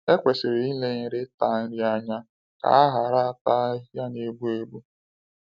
Ekwesịrị ilenyere ịta nri anya ka a ghara ata ahịhịa na-egbu egbu.